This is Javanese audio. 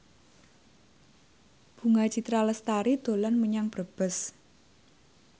Bunga Citra Lestari dolan menyang Brebes